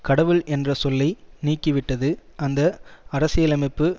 கடவுள் என்ற சொல்லை நீக்கிவிட்டது அந்த அரசியலமைப்பு